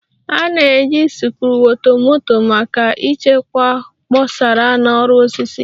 A na-eji sikruokwomoto maka ịchekwa kposara na ọrụ osisi